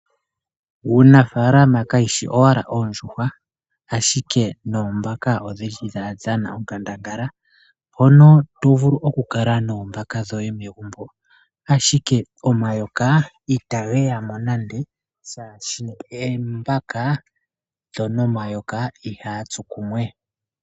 Uunafaalama kayi shi owala oondjuhwa ashike noombaka otadhi dhana onkandangala. Oto vulu oku kala noombaka dhoye megumbo ashike omayoka itage ya mo nande oshoka omayoka noombaka ihaga tsu kumwe.